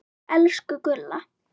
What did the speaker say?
Elsku Gulla.